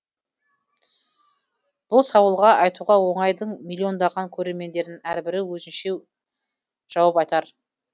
бұл сауалға айтуға оңай дың миллиондаған көрермендерінің әрбірі өзінше жауап айтар